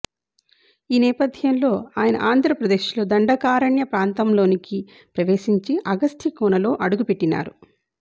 ఈ నేపథ్యంలో ఆయన ఆంధ్రప్రదేశ్లో దండకారణ్య ప్రాంతంలోనికి ప్రవేశించి ఆగస్త్య కోనలో అడుగుపెట్టినారు